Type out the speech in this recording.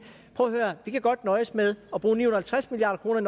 prøv at høre vi kan godt nøjes med at bruge ni hundrede og halvtreds milliard kroner